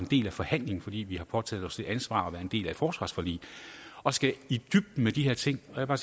del i forhandlingen fordi vi har påtaget os et ansvar ved at være en del af et forsvarsforlig og skal i dybden med de her ting og